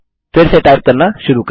फिर से टाइप करना शुरू करें